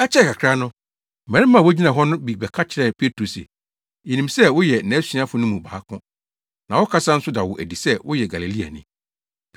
Ɛkyɛe kakra no, mmarima a wogyina hɔ no bi bɛka kyerɛɛ Petro se, “Yenim sɛ woyɛ nʼasuafo no mu baako, na wo kasa nso da wo adi sɛ woyɛ Galileani.”